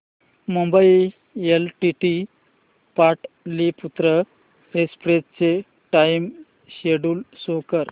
Mumbai LTT Pataliputra express चे time schedule show कर